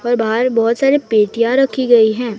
और बाहर बहुत सारी पेटियां रखी गई हैं।